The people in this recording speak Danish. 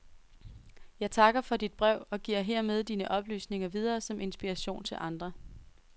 Jeg takker for dit brev og giver hermed dine oplysninger videre som inspiration til andre.